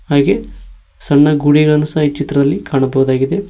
ಹಾಗೆ ಸಣ್ಣ ಗುಡಿಗಳನ ಸಹ ಈ ಚಿತ್ರದಲ್ಲಿ ಕಾಣಬಹುದಾಗಿದೆ.